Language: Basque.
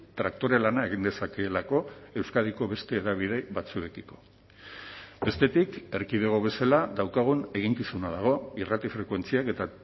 traktore lana egin dezakeelako euskadiko beste hedabide batzuekiko bestetik erkidego bezala daukagun eginkizuna dago irrati frekuentziak eta